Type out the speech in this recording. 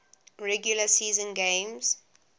regular season games